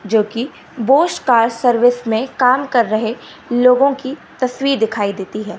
जो कि Bosch car service में काम कर रहे लोगों की तस्वीर दिखाई देती है।